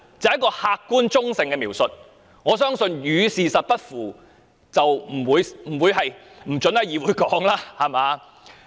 這是客觀及中性的描述，相信你也不會禁止在議會使用。